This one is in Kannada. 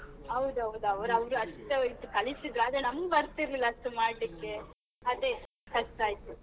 ಹೌದ್ ಹೌದು ಅವ್ರ್~ ಅವ್ರು ಅವ್ರ್ ಅಷ್ಟ್ ಕಲಿಸಿದ್ರು, ಆದ್ರೆ ನಮ್ಗೆ ಬರ್ತಿರ್ಲಿಲ್ಲ ಅಷ್ಟು ಮಾಡ್ಲಿಕ್ಕೆ ಅದೇ ಕಷ್ಟ ಆಯ್ತು.